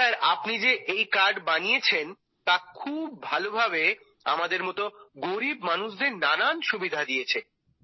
sir আপনি যে এই কার্ড বানিয়েছেন তা খুব ভালোভাবে আমাদের মতো গরিব মানুষদের নানান সুবিধা দিয়েছে